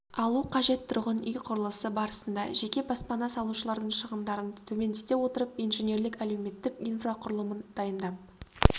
алу қажет тұрғын үй құрылысы барысында жеке баспана салушылардың шығындарын төмендете отырып инженерлік-әлеуметтік инфрақұрылымын дайындап